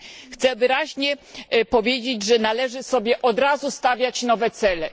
Chciałabym wyraźnie powiedzieć, że należy sobie od razu stawiać nowe cele.